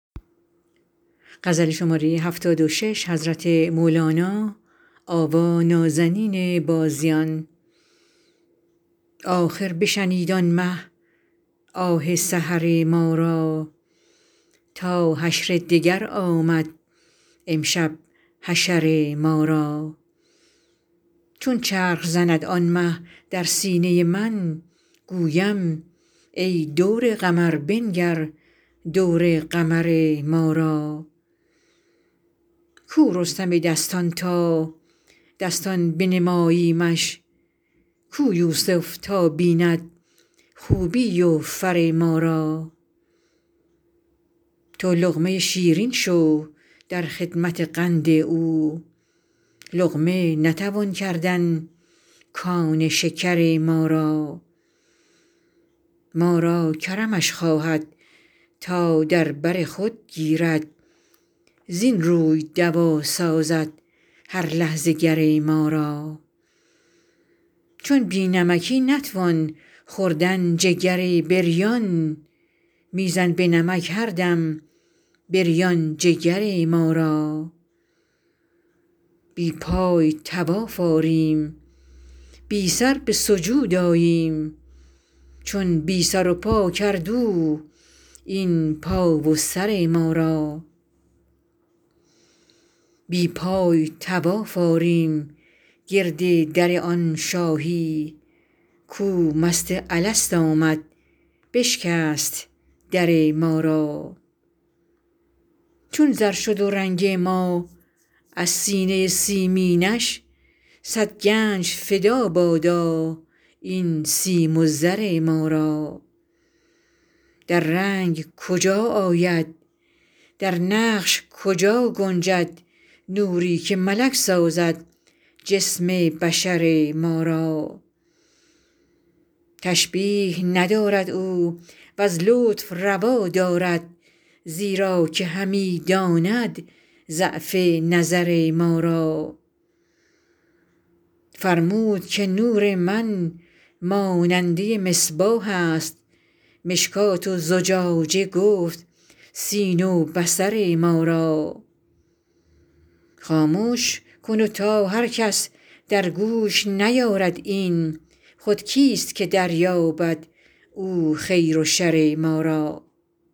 آخر بشنید آن مه آه سحر ما را تا حشر دگر آمد امشب حشر ما را چون چرخ زند آن مه در سینه من گویم ای دور قمر بنگر دور قمر ما را کو رستم دستان تا دستان بنماییمش کو یوسف تا بیند خوبی و فر ما را تو لقمه شیرین شو در خدمت قند او لقمه نتوان کردن کان شکر ما را ما را کرمش خواهد تا در بر خود گیرد زین روی دوا سازد هر لحظه گر ما را چون بی نمکی نتوان خوردن جگر بریان می زن به نمک هر دم بریان جگر ما را بی پای طواف آریم بی سر به سجود آییم چون بی سر و پا کرد او این پا و سر ما را بی پای طواف آریم گرد در آن شاهی کو مست الست آمد بشکست در ما را چون زر شد رنگ ما از سینه سیمینش صد گنج فدا بادا این سیم و زر ما را در رنگ کجا آید در نقش کجا گنجد نوری که ملک سازد جسم بشر ما را تشبیه ندارد او وز لطف روا دارد زیرا که همی داند ضعف نظر ما را فرمود که نور من ماننده مصباح است مشکات و زجاجه گفت سینه و بصر ما را خامش کن تا هر کس در گوش نیارد این خود کیست که دریابد او خیر و شر ما را